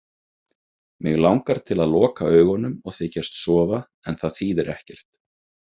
Mig langar til að loka augunum og þykjast sofa en það þýðir ekkert.